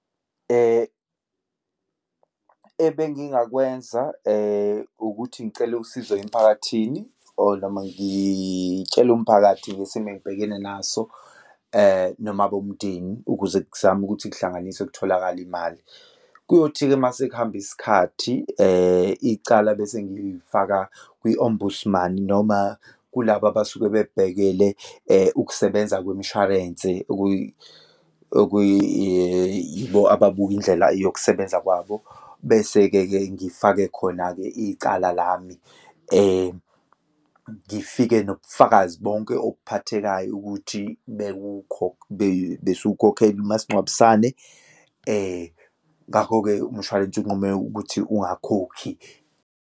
Ebengingakwenza ukuthi ngicele usizo emphakathini or noma ngitshele umphakathi ngesimo engibhekene naso noma abomndeni ukuze kuzame ukuthi kuhlanganiswe kutholakale imali. Kuyothi-ke uma sekuhamba isikhathi, icala bese ngilifaka kwi-ombudsman noma kulaba abasuke bebhekele ukusebenza kwimishwarense, okuyi, yibo ababuka indlela yokusebenza kwabo. Bese-ke ke ngifake khona-ke icala lami. Ngifike nobufakazi bonke obuphathekayo ukuthi besiwukhokhela umasingcwabisane, ngakho-ke umshwalense unqume ukuthi ungakhokhi.